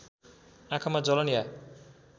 आँखामा जलन या